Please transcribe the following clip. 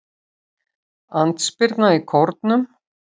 Andspyrna í Kórnum